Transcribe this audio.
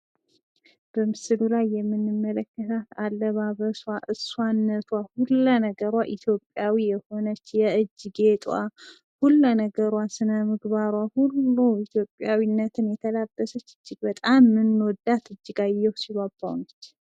በምሥሉ ላይ የምንመለከታት አለባበሷ፣ እሷነቷ ሁሉ ለነገሯ ኢትዮጵያዊው የሆነች የእጅ ጌጧ ሁሉን ነገሯ ስነምግባሯ ሁሉ ኢትዮጵያዊነትን የተላበሰች እጅግ በጣም የምንወዳት እጅጋየሁ ሽባባው ነች።